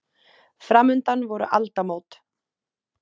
Framundan voru aldamót.